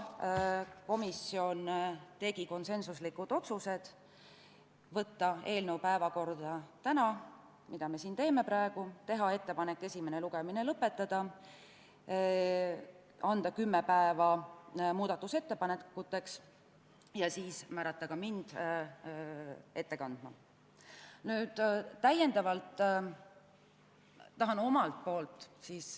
Komisjon tegi konsensuslikud otsused: võtta eelnõu päevakorda tänaseks, teha ettepanek esimene lugemine lõpetada, anda kümme päeva aega muudatusettepanekute tegemiseks ja määrata mind ettekandjaks.